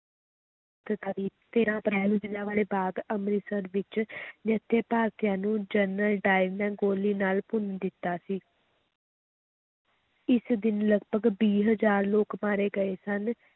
ਤੇਰਾਂ ਅਪ੍ਰੈਲ ਨੂੰ ਜ਼ਿਲ੍ਹਿਆਂ ਵਾਲੇ ਬਾਗ਼ ਅੰਮ੍ਰਿਤਸਰ ਵਿੱਚ ਨਿਹੱਥੇ ਭਾਰਤੀਆਂ ਨੂੰ ਜਨਰਲ ਡਾਇਰ ਨੇ ਗੋਲੀ ਨਾਲ ਭੁੰਨ ਦਿੱਤਾ ਸੀ ਇਸ ਦਿਨ ਲਗਪਗ ਵੀਹ ਹਜ਼ਾਰ ਲੋਕ ਮਾਰੇ ਗਏ ਸਨ।